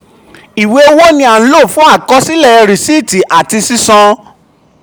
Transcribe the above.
ìwé owó ni a nlo fún àkọsílẹ̀ risiiti ati sisan.